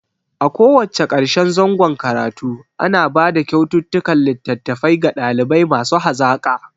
A ko wacce karshen zangon karatu ana bada kyaututtukan litattafai ga ɗalibai masu hazaka